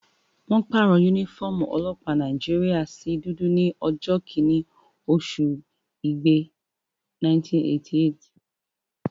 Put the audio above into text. Wọ́n pàrọ̀ yúnífọ́ọ̀mù ọlọ́pàá Nàìjíríyà sí dúdú ní ọjọ́ kẹ́rin oṣù igbe, 1988